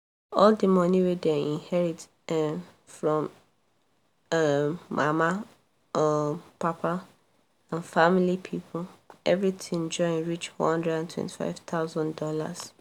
all the money wey dem inherit um from um mama um papa and family people everything join reach $125000